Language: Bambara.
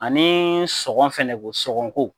Anii sɔngɔn fɛnɛ ko sɔngɔn ko